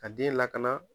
Ka den lakana